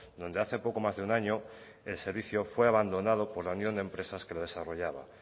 donde hace poco más de un año el servicio fue abandonado por la unión de empresas que la desarrollaba